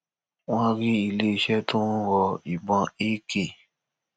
wọn rí iléeṣẹ tó ń rọ ìbọn ak